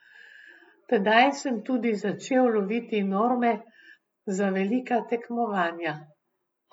Tedaj sem tudi začel loviti norme za velika tekmovanja.